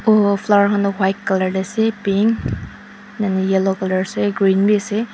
Kunba flower khan toh white colour te ase pink yellow colour ase aro green bi ase.